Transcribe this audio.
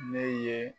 Ne ye